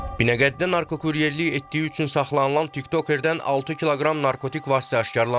Binəqədidə narkokuryerlik etdiyi üçün saxlanılan tiktoker-dən 6 kiloqram narkotik vasitə aşkar olunub.